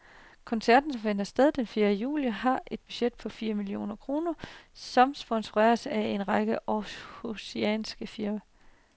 Koncerten, som finder sted den fjerde juli, har et budget på fire millioner kroner og sponsoreres af en række århusianske firmaer.